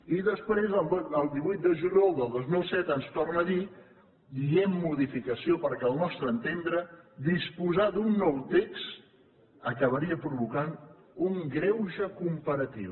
i després el divuit de juliol del dos mil set ens torna a dir dient modificació perquè al nostre entendre disposar d’un nou text acabaria provocant un greuge comparatiu